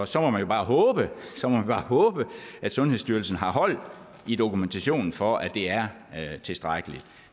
så må man bare håbe håbe at sundhedsstyrelsen har hold i dokumentationen for at det er tilstrækkeligt